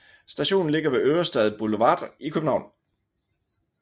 Stationen ligger ved Ørestads Boulevard i København